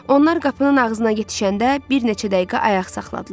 Onlar qapının ağzına yetişəndə bir neçə dəqiqə ayaq saxladılar.